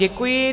Děkuji.